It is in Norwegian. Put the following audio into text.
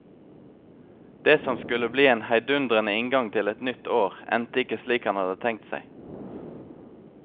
Det som skulle bli en heidundrende inngang til et nytt år, endte ikke slik han hadde tenkt seg.